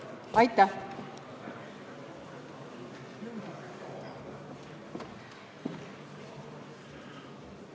Aitäh!